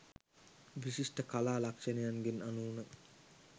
විශිෂ්ට කලා ලක්ෂණයන්ගෙන් අනූන